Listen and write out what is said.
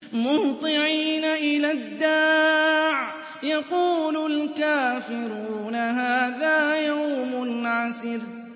مُّهْطِعِينَ إِلَى الدَّاعِ ۖ يَقُولُ الْكَافِرُونَ هَٰذَا يَوْمٌ عَسِرٌ